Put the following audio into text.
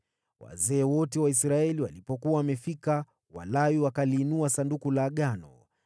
Wazee wote wa Israeli walipofika, Walawi wakajitwika Sanduku la Agano,